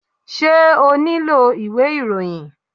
Ṣé o nílò ìwé ìròyìn?